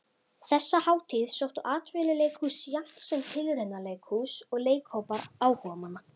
Þessa hátíð sóttu atvinnuleikhús jafnt sem tilraunaleikhús og leikhópar áhugamanna.